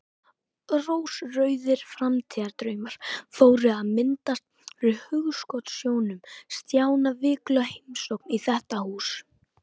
Rósrauðir framtíðardraumar fóru að myndast fyrir hugskotssjónum Stjána: Vikuleg heimsókn í þetta hús.